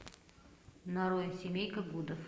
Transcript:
нарой семейка гудов